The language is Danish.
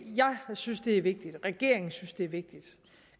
jeg synes det er vigtigt regeringen synes det er vigtigt